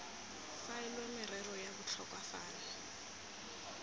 faelwe merero ya botlhokwa fano